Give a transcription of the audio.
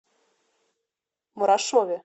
мурашове